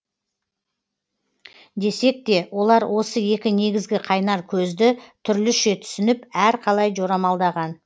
десек те олар осы екі негізгі қайнар көзді түрліше түсініп әрқалай жорамалдаған